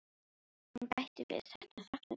Hún bætti við: Þetta er falleg saga.